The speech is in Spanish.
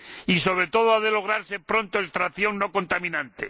Y, sobre todo, ha de lograrse pronto la extracción no contaminante.